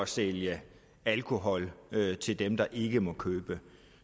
sælge alkohol til dem der ikke må købe